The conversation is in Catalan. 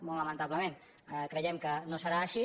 molt lamentablement cre·iem que no serà així